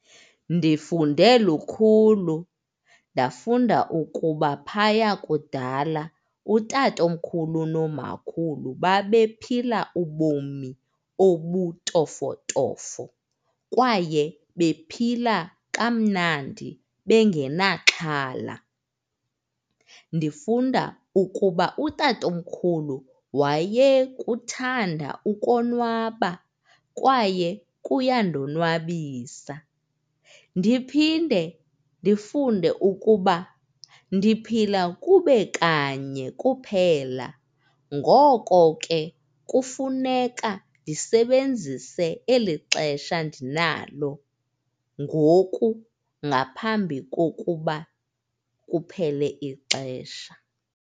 Ndifunde lukhulu, ndafunda ukuba phaya kudala utatomkhulu nomakhulu babephila ubomi obutofotofo kwaye bephila kamnandi bengenaxhala. Ndifunda ukuba utatomkhulu wayekuthanda ukonwaba kwaye kuyandonwabisa. Ndiphinde ndifunde ukuba ndiphila kube kanye kuphela. Ngoko ke, kufuneka ndisebenzise eli xesha ndinalo ngoku ngaphambi kokuba kuphele ixesha.